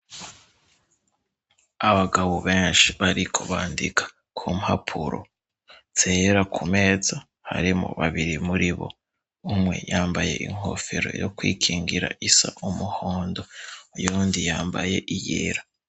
Abagabo benshi bariko bandika ku mpapuro zera ku meza harimwo babiri muri bo umwe yambaye inkofero yo kwikingira isa umuhondo uyundi yambaye iyera.